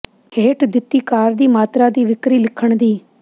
ਹੇਠ ਦਿੱਤੀ ਕਾਰ ਦੀ ਮਾਤਰਾ ਦੀ ਵਿਕਰੀ ਲਿਖਣ ਦੀ